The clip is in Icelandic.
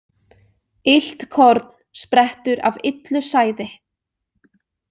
Illt korn sprettur af illu sæði.